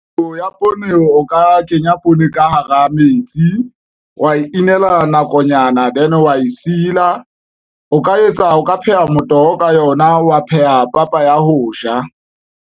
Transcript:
Ho ya poone o ka kenya poone ka hara metsi wa inela nakonyana then wa e sila, o ka etsa o ka pheha motoho ka yona wa pheha papa ya ho ja.